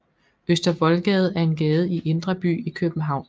Øster Voldgade er en gade i Indre By i København